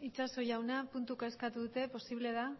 itxaso jauna puntuka eskatu dute posible da